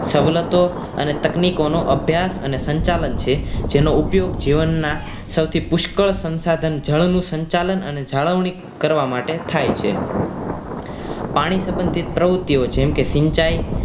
સવલતો અને તકનીકોનો અભ્યાસ અને સંચાલન છે જેનો ઉપયોગ જીવનના સૌથી પુષ્કળ સંસાધન જળનુ સંચાલન અને જાળવણી માટે થાય છે પાણી સંબંધીત પ્રવૃત્તિઓ જેમ કે સિંચાઈ